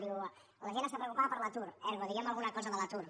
diu la gent està preocupada per l’atur ergo diguem alguna cosa de l’atur